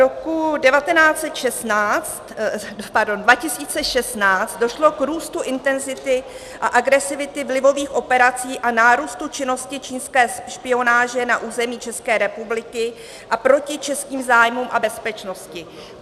Roku 2016 došlo k růstu intenzity a agresivity vlivových operací a nárůstu činnosti čínské špionáže na území České republiky a proti českým zájmům a bezpečnosti.